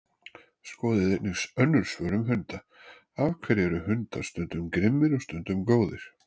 Skoðið einnig önnur svör um hunda: Af hverju eru hundar stundum grimmir og stundum góðir?